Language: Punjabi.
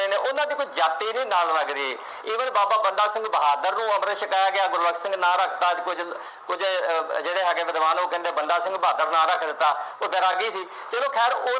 ਉਹਨਾ ਦੀ ਕੋਈ ਜਾਤੀ ਨਹੀਂ ਨਾਲ ਲੱਗਦੀ। ਇਵੇਂ ਹੀ ਬਾਬਾ ਬੰਦਾ ਸਿੰਘ ਬਹਾਦਰ ਨੂੰ ਅੰਮ੍ਰਿਤ ਛਕਾਇਆ ਗਿਆ, ਗੁਰਬਖਸ਼ ਸਿੰਘ ਨਾਮ ਰੱਖਤਾ, ਅੱਜ ਕੁੱਛ, ਕੁੱਝ ਅਹ ਜਿਹੜੇ ਹੈਗੇ ਵਿਦਵਾਨ ਉਹ ਕਹਿੰਦੇ ਬਾਬਾ ਬੰਦਾ ਸਿੰਘ ਬਹਾਦਰ ਨਾਂ ਰੱਖ ਦਿੱਤਾ। ਉਹ ਵੈਰਾਗੀ ਸੀ, ਚੱਲੋ ਖੈਰ ਉਹ